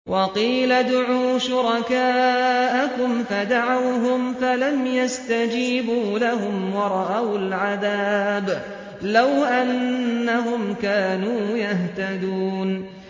وَقِيلَ ادْعُوا شُرَكَاءَكُمْ فَدَعَوْهُمْ فَلَمْ يَسْتَجِيبُوا لَهُمْ وَرَأَوُا الْعَذَابَ ۚ لَوْ أَنَّهُمْ كَانُوا يَهْتَدُونَ